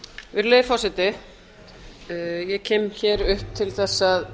virðulegi forseti ég kem hér upp til þess að